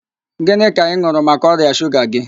Gịnị ka ị n̄ụrụ maka ọrịa shuga gị